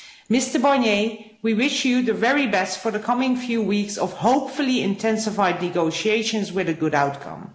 Mr Barnier, we wish you the very best for the coming few weeks of hopefully intensified negotiations with a good outcome.